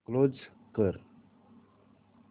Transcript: close कर